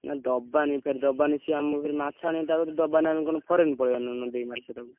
ନା ଦବାନି ଫେରେ ଦବାନି ସିଏ ଆମକୁ ଫେରେ ମାଛ ଆଣିଆ ତା କତିରୁ ଦବାନି ଆମେ କଣ foreign ପଳେଇଆ ନା ନ ଦେଇକି ମାଛ ତାକୁ।